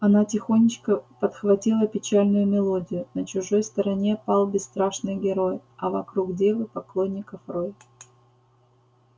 она тихонечко подхватила печальную мелодию на чужой стороне пал бесстрашный герой а вокруг девы поклонников рой